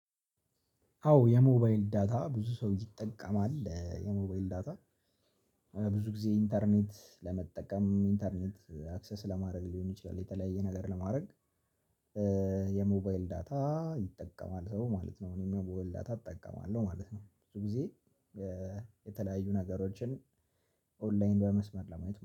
አዎ የሞባይል ዳታ ብዙ ሰው ይጠቀማል የሞባይል ዳታ ብዙ ጊዜ ኢንተርኔት ለመጠቀም ኢንተርኔት አክሰስ ለማድረግ ሊሆን ይችላል የተለያየ ነገር ለማድረግ። የሞባይል ዳታ ይጠቀማል ሰው ማለት ነው እኔ የሞባይል ዳታ እጠቀማለሁ ማለት ነው ብዙ ጊዜ የተለያዩ ነገሮችን ኦንላይን በመስመር ለማየት